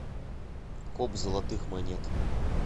коп золотых монет